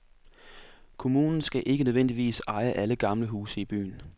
Kommunen skal ikke nødvendigvis eje alle gamle huse i byen.